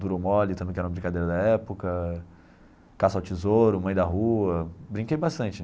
Duro ou mole, também que era uma brincadeira da época, caça ao tesouro, mãe da rua, brinquei bastante.